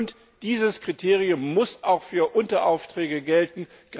Und dieses Kriterium muss auch für Unteraufträge gelten.